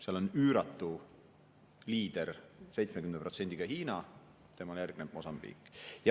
Seal on üüratu liider 70%‑ga Hiina, temale järgneb Mosambiik.